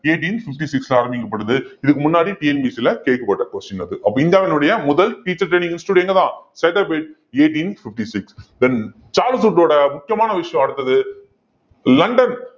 eighteen fifty six ல ஆரம்பிக்கப்படுது இதுக்கு முன்னாடி TNPSC ல கேட்கப்பட்ட question அது அப்ப இந்தியாவினுடைய முதல் teacher training institute எங்க தான் Saidapet eighteen fifty six then Charles வுட்டோட முக்கியமான விஷயம் அடுத்தது லண்டன்